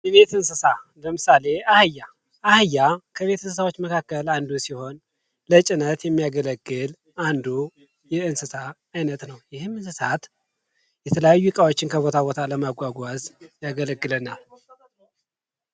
የቤት እንስሳት ፡-አህያ ከቤት እንስሳት መካከል አንዱ ሲሆን የተለያዩ እቃዎችን ለማጓጓዝ ይረዳናል።